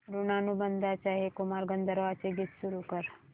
ऋणानुबंधाच्या हे कुमार गंधर्वांचे गीत सुरू कर